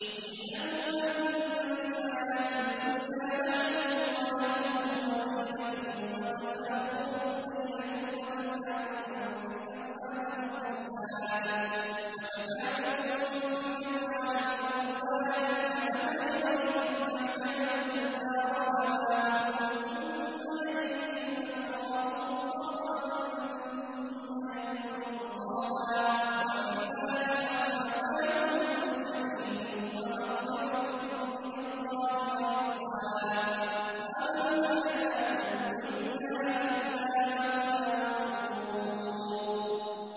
اعْلَمُوا أَنَّمَا الْحَيَاةُ الدُّنْيَا لَعِبٌ وَلَهْوٌ وَزِينَةٌ وَتَفَاخُرٌ بَيْنَكُمْ وَتَكَاثُرٌ فِي الْأَمْوَالِ وَالْأَوْلَادِ ۖ كَمَثَلِ غَيْثٍ أَعْجَبَ الْكُفَّارَ نَبَاتُهُ ثُمَّ يَهِيجُ فَتَرَاهُ مُصْفَرًّا ثُمَّ يَكُونُ حُطَامًا ۖ وَفِي الْآخِرَةِ عَذَابٌ شَدِيدٌ وَمَغْفِرَةٌ مِّنَ اللَّهِ وَرِضْوَانٌ ۚ وَمَا الْحَيَاةُ الدُّنْيَا إِلَّا مَتَاعُ الْغُرُورِ